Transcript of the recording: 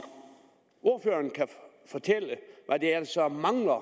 ordføreren kan fortælle hvad der så mangler